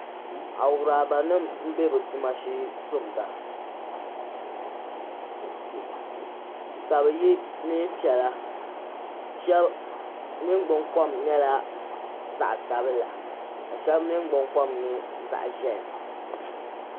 a euranim n bɛ bɛ. tuma shee n tumda ka yɔɛ neenpiɛlashɛʋbi niŋgbun kom nyɛla zaɣi sabila ka shɛb niŋgbun kom nyɛ zaɣi ziɛhi